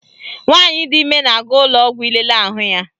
Nwaanyị di ime na-aga ụlọọgwọ ilele ahụ ya